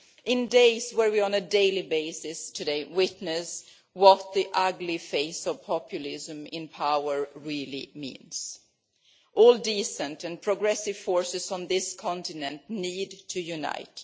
In times where, on a daily basis, we witness what the ugly face of populism in power really means, all decent and progressive forces on this continent need to unite.